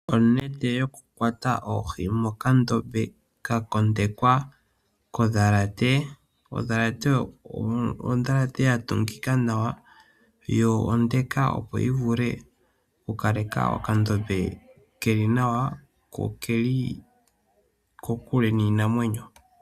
Onete yokukwata oohi mokandombe ka kondekwa nondhalate. Ondhalate ya tungika nawa yo onde opo yi vule okukaleka okandombe ke li nawa ko oke li kokule niinamwenyo.